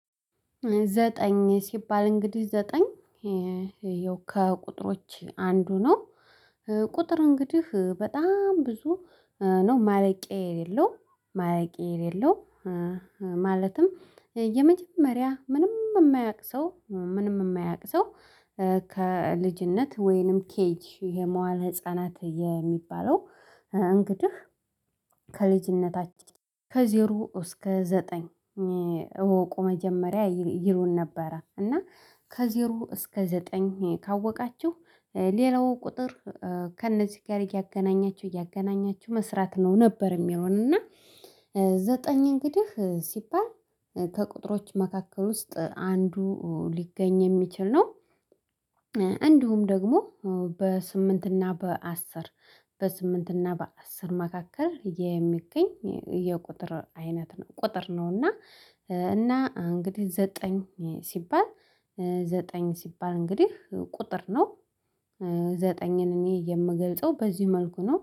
ዘጠኝ ሲባል እንግዲህ ዘጠኝ ያው ከቁጥሮች አንዱ ነው። ቁጥር እንግዲህ በጣም ብዙ ነው ማለቂያ የሌለው ማለቂያ የሌለው ማለትም የመጀመሪያ ምንም የማያውቅ ሰው ምንም የማያውቅ ሰው ከልጅነት ወይንም ኬጂ የመዋዕለ ህፃናት የሚባለው እንግዲህ ከልጅነታችን ከዜሮ እስከ ዘጠኝ እወቁ መጀመሪያ ይሉን ነበረ እና ከዜሮ እስከ ዘጠኝ ካወቃችሁ፤ ሌላው ቁጥር ከእነዚህ ጋር እያገናኛችሁ እያገናኛችሁ መስራት ነው ነበር የሚሉን እና ዘጠኝ እንግዲህ ሲባል ከቁጥሮች መካከል ውስጥ አንዱ ሊገኝ የሚችል ነው። እንዲሁም ደግሞ በስምንት እና በአስር በስምንት እና በአስር መካከል የሚገኝ የቁጥር አይነት ነው ቁጥር ነውና፤ እና እንግዲህ ዘጠኝ ሲባል ዘጠኝ ሲባል እንግዲህ ቁጥር ነው። ዘጠኝን እኔ የምገልጸው በዚህ መልኩ ነው።